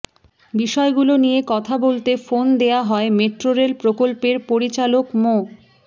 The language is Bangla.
বিষয়গুলো নিয়ে কথা বলতে ফোন দেয়া হয় মেট্রোরেল প্রকল্পের পরিচালক মো